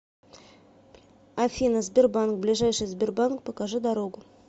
афина сбербанк ближайший сбербанк покажи дорогу